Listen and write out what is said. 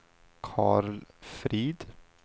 Karl Frid